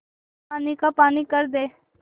पानी का पानी कर दे